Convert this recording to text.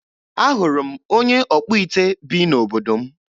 Ahụrụ m onye ọkpụite bi n'obodo m.